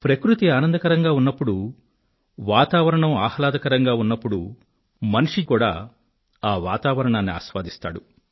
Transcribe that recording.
ప్రకృతి ఆనందకరంగా ఉన్నప్పుడు వాతావరణం ఆహ్లాదకరంగా ఉన్నప్పుడు మనిషి కూడా ఆ వాతావరణాన్ని ఆస్వాదిస్తాడు